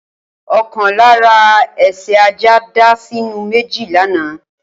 Okan lara ese ajá dá sinu meji lana.